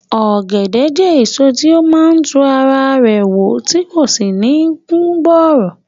Ọ̀gẹ̀dẹ̀ jẹ́ èso tí ó máa ń tún ara rẹ̀ wù tí kò sì ní kú bọ̀rọ̀